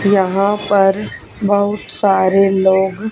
यहां पर बहुत सारे लोग--